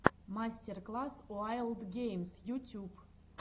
мастер класс уайлд геймс ютюб